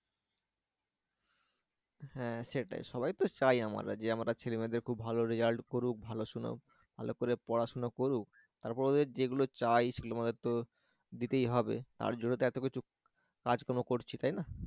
হ্যাঁ সেটাই সবাই তো চায় আমরা যে আমাদের ছেলেমেয়েরা খুব ভালো result করুক ভালো সুনাম ভালো করে পড়াশোনা করুক তার পরে ওদের যেগুলো চাই সেগুলো আমাদের তো দিতেই হবে তার জন্যই তো এত কিছু কাজকর্ম করছি তাই না?